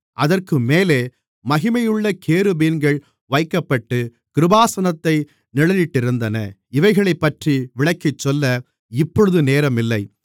அதற்கு மேலே மகிமையுள்ள கேருபீன்கள் வைக்கப்பட்டுக் கிருபாசனத்தை நிழலிட்டிருந்தன இவைகளைப்பற்றி விளக்கிச்சொல்ல இப்பொழுது நேரமில்லை